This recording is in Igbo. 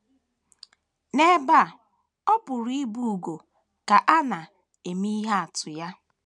N’ebe a, ọ pụrụ ịbụ ugo ka a na - eme ihe atụ ya.